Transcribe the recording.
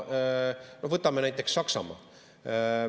Võtame näiteks Saksamaa.